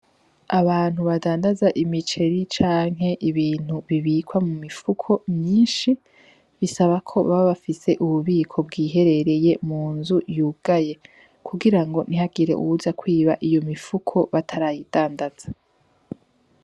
Abantu badandaza imiceri canke ibintu bibikwa mu mifuko myinshi bisaba ko baba bafise ububiko bwiherereye mu nzu yugaye. Kugira ntihagire uwuza kwiba iyo mifuko b'atarayidandaza.